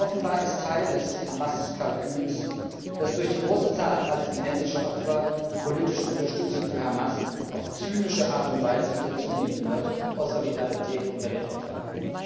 Offenbar ist es Teil des Hamas Kalküls, dass durch die große Zahl palästinensischer Opfer die politische Unterstützung für Hamas auf zynische Art und Weise wieder zunehmen wird, aus Solidarität unter den Opfern.